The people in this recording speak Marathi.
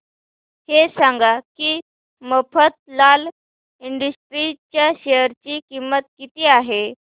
हे सांगा की मफतलाल इंडस्ट्रीज च्या शेअर ची किंमत किती आहे